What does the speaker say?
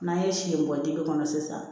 N'an ye si in bɔ dibi kɔnɔ sisan